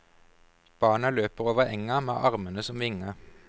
Barna løper over enga med armene som vinger.